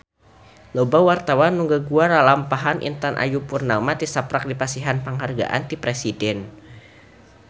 Loba wartawan anu ngaguar lalampahan Intan Ayu Purnama tisaprak dipasihan panghargaan ti Presiden